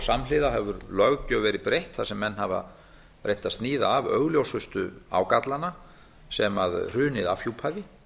samhliða hefur löggjöf verið breytt þar sem menn hafa reynt að sníða af augljósustu ágallana sem hrunið afhjúpaði